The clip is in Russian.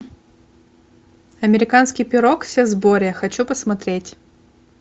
американский пирог все в сборе хочу посмотреть